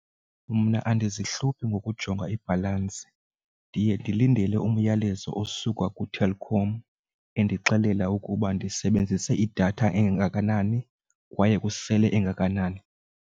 Mna andizi hluphi ngokujonga ibhalansi, ndiye ndilindele umyalezo osuka kuTelkom endixelela ukuba ndisebenzise idatha engakanani kwaye kusele engakanani.